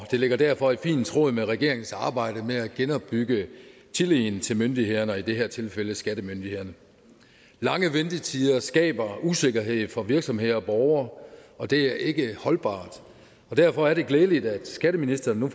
det ligger derfor fint i tråd med regeringens arbejde med at genopbygge tilliden til myndighederne og i det her tilfælde til skattemyndighederne lange ventetider skaber usikkerhed for virksomheder og borgere og det er ikke holdbart derfor er det glædeligt at skatteministeren nu